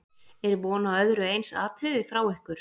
Er von á öðru eins atriði frá ykkur?